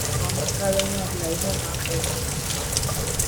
o mara nke ọma karia onye ọbula ihe ụmụaka ụmụaka chọrọ